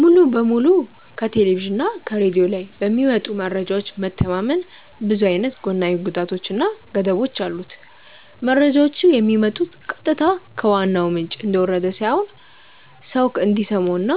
ሙሉ በሙሉ ከቴሌቭዥን እና ከሬድዮ ላይ በሚመጡ መረጃዎች መተማመን ብዙ አይነት ጎናዊ ጉዳቶች እና ገደቦች አሉት። መረጃዎቹ የሚመጡት ቀጥታ ከዋናው ምንጭ እንደወረደ ሳይሆን ሰው እንዲሰማው እና